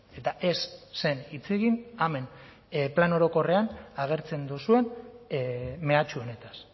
eta ez zen hitz egin hemen plan orokorrean agertzen duzuen mehatxu honetaz